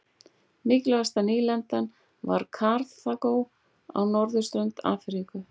Mikilvægasta nýlendan var Karþagó á norðurströnd Afríku.